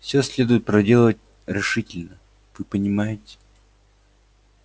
все следует проделать решительно вы понимаете